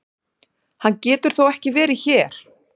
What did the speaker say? Hann getur þó ekki verið hér!